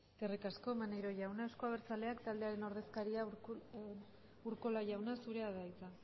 eskerrik asko maneiro jauna eusko abertzaleak taldearen ordezkariak urkola jauna zurea da hitza